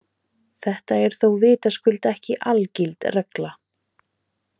Þetta er þó vitaskuld ekki algild regla.